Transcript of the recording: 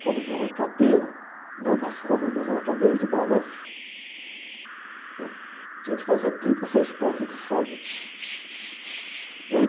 Quando vinha uma cadeira, não das comuns, mas uma cadeira de balanço, né? Tinha de fazer trinta e seis pontos de solda.